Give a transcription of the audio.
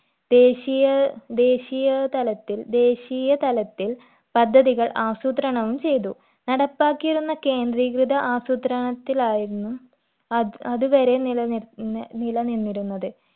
ദേശീയ ദേശീയ തലത്തിൽ ദേശീയ തലത്തിൽ പദ്ധതികൾ ആസൂത്രണവും ചെയ്തു നടപ്പാക്കിയിരുന്ന കേന്ദ്രീകൃത ആസൂത്രണത്തിലായിരുന്നു അത് അത് വരെ നിലനിർന്നി നിലനിന്നിരുന്നത്